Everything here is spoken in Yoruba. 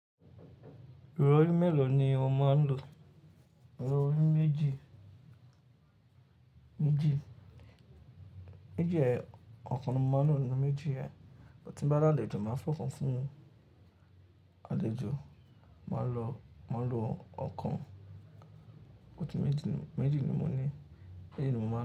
Ìrọ̀rí mélòó ni ò máa ń lò? Ìrọ̀rí méjì, méjì. Méjì ẹ, ọ̀kan ni mo máa ń lò nínú méjì ẹ, bí mo bá lá àlejò, màá fọkàn fún àlejò, màá lò, màá lò ọ̀kan nínú méjì, méjì ni mo ní, méjì ni mo máa ń lò.